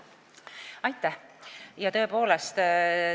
Aitäh!